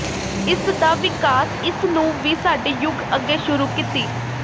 ਇਸ ਦਾ ਵਿਕਾਸ ਇਸ ਨੂੰ ਵੀ ਸਾਡੇ ਯੁੱਗ ਅੱਗੇ ਸ਼ੁਰੂ ਕੀਤੀ